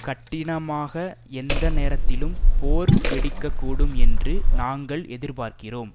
கட்டினமாக எந்த நேரத்திலும் போர் வெடிக்க கூடும் என்று நாங்கள் எதிர்பார்க்கிறோம்